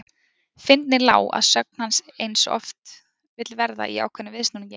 Fyndnin lá að sögn hans eins og oft vill verða í ákveðnum viðsnúningi.